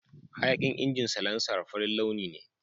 Hayakin injin salancer farin launi ne.